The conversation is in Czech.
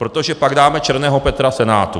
Protože pak dáme černého Petra Senátu.